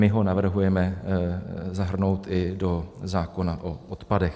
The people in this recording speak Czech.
My ho navrhujeme zahrnout i do zákona o odpadech.